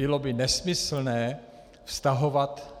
Bylo by nesmyslné vztahovat